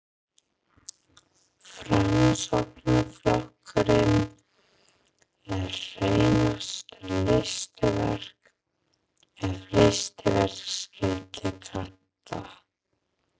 Framsóknarflokkurinn er hreinasta listaverk, ef listaverk skyldi kalla.